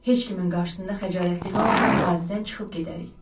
Heç kimin qarşısında xəcalətli qalmadan vadidən çıxıb gedərik.